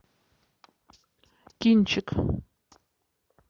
кинчик